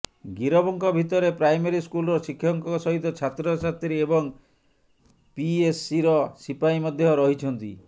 ଗିରଫଙ୍କ ଭିତରେ ପ୍ରାଇମେରୀ ସ୍କୁଲର ଶିକ୍ଷକଙ୍କ ସହିତ ଛାତ୍ରଛାତ୍ରୀ ଏବଂ ପିଏସସିର ସିପାହୀ ମଧ୍ୟ ରହିଛନ୍ତି